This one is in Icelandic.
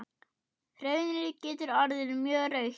Hraunið getur orðið mjög rautt.